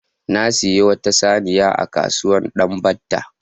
Na sayi wata saniya a kasuwar Danbatta.